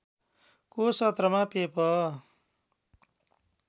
को सत्रमा पेप